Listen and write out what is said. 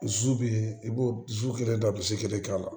Zu bɛ i b'o kelen da bisi kelen k'a la